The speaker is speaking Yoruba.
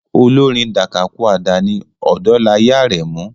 Olórin Dakakúàdà ni Odolaye Arẹmu.